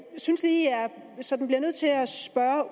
synes lige jeg sådan bliver nødt til at spørge